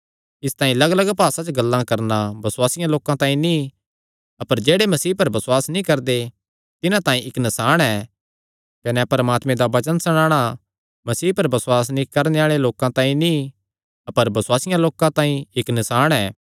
इसतांई लग्गलग्ग भासा च गल्लां करणा बसुआसियां लोकां तांई नीं अपर जेह्ड़े मसीह पर बसुआस नीं करदे तिन्हां तांई इक्क नसाण ऐ कने परमात्मे दा वचन सणाणा मसीह पर बसुआस नीं करणे आल़े लोकां तांई नीं अपर बसुआसियां लोकां तांई इक्क नसाण ऐ